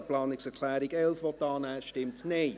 Wer die Planungserklärung 11 annehmen will, stimmt Nein.